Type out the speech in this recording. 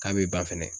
K'a bɛ ban fɛnɛ